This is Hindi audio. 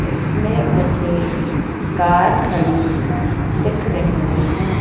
इसमें मुझे कार खड़ी दिख रही हैं।